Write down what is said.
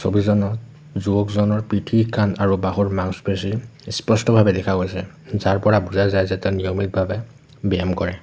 যুৱকজনৰ পিঠি কান্ধ আৰু বাহুৰ মাংসপেশি স্পষ্টভাৱে দেখা গৈছে যাৰ পৰা বুজা যায় যে তাৰ নিয়মিতভাৱে ব্যায়াম কৰে।